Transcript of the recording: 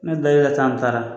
Ne da i ka an taara